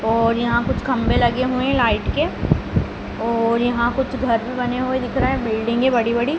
और यहाँ कुछ खंभे लगे हुए हैं लाइट के और यहाँ कुछ घर भी बने हुए दिख रहे हैं बिल्डिंगें बड़ी-बड़ी।